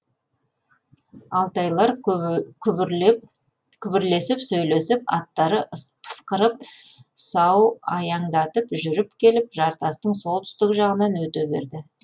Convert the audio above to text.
алтайлар күбірлесіп сөйлесіп аттары пысқырып сау аяңдатып жүріп келіп жартастың солтүстік жағынан өте берді